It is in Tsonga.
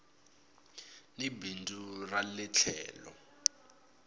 hi bindzu ra ie tlhelo